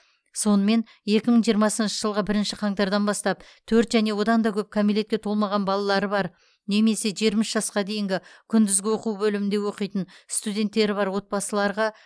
сонымен екі мың жиырмасыншы жылғы бірінші қаңтардан бастап төрт және одан да көп кәмелетке толмаған балалары бар немесе жиырма үш жасқа дейінгі күндізгі оқу бөлімінде оқитын студенттері бар отбасыларға